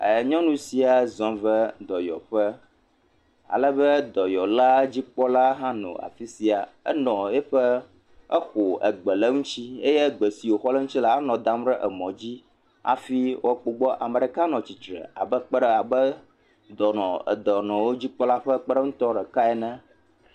Nyɔnu sia zɔ va dɔyɔƒe alebe dɔyɔla dzikpɔla hã nɔ afisia Enɔ teƒe, exɔ Egbe le eŋuti. Egbe si woxɔ le eŋuti la, enɔ ɖam ɖe emɔ dzi hafi wòakpɔ gbɔ. Ame ɖeka nɔ atsitre abe kpeɖe, abe dɔnɔdzikpɔla ƒe kpeɖeŋutɔ ɖeka ene.